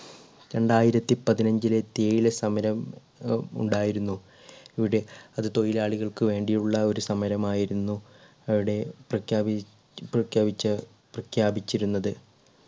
രണ്ടായിരത്തി പതിനഞ്ചിലെ തേയില സമരം ഏർ ഉണ്ടായിരുന്നു ഇവിടെ. അത് തൊഴിലാളികൾക്ക് വേണ്ടിയുള്ള ഒരു സമരം ആയിരുന്നു ഇടെ പ്രഖ്യാപി പ്രഖ്യാപിച്ച പ്രഖ്യാപിച്ചിരുന്നത്